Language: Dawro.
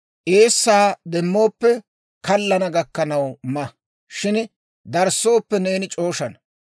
Eessaa demmooppe, kallana gakkanaw ma; shin darissooppe, neeni c'ooshana.